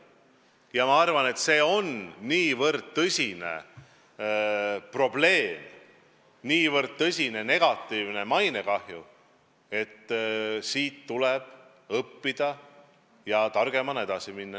Ma arvan, et see on nii tõsine probleem, nii tõsine mainekahju, et sellest tuleb õppida ja püüda targemana edasi minna.